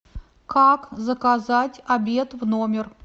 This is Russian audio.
как заказать обед в номер